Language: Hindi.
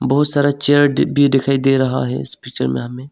बहुत सारा चेयर दी भी दिखाई दे रहा है इस पिक्चर में हमें।